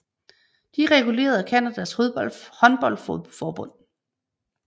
De er reguleret af Canadas håndboldforbund